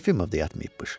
Yefimov da yatmayıbmış.